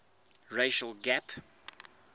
racial gap